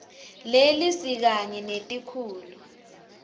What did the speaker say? leli sikanye netikhulu